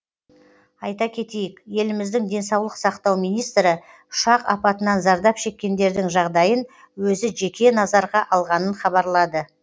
айта кетейік еліміздің денсаулық сақтау министрі ұшақ апатынан зардап шеккендердің жағдайын өзі жеке назарға алғанын хабарлады